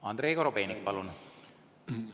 Andrei Korobeinik, palun!